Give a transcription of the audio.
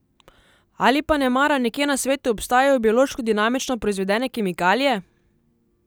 Ali pa nemara nekje na svetu obstajajo biološko dinamično proizvedene kemikalije?